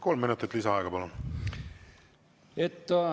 Kolm minutit lisaaega, palun!